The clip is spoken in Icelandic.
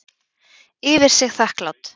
Yfir sig þakklát.